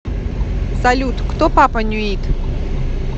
салют кто папа нюит